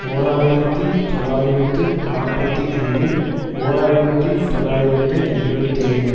ஓர் ஆயிரத்தி தொள்ளாயிரத்து நாற்பத்தி ஐந்து ஓர் ஆயிரத்தி தொள்ளாயிரத்து எழுபத்தி ஐந்து